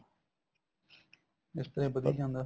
ਇਸ ਤਰ੍ਹਾਂ ਏ ਵੱਧੀ ਜਾਂਦਾ